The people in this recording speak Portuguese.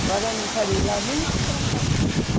Agora não quero ir lá nem para passear.